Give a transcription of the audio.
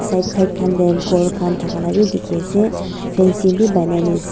side side khan tey kor khan thaka laka beh dekhe ase fency beh panai kena as--